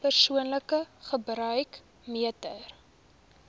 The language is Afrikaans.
persoonlike gebruik meter